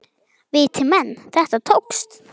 Viti menn, þetta tókst.